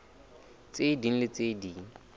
tse ding le tse ding